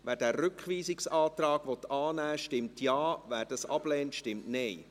Wer den Rückweisungsantrag annehmen will, stimmt Ja, wer diesen ablehnt, stimmt Nein.